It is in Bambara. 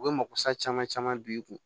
U bɛ mako sa caman caman bin i kun